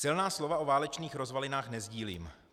Silná slova o válečných rozvalinách nesdílím.